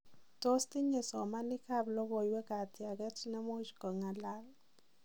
Tos tinye somanik ab logowek katiaget nemuch kongalal?